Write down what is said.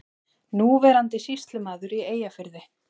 Núverandi sýslumaður í Eyjafirði.